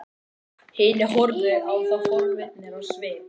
Hinir horfðu á þá forvitnir á svip.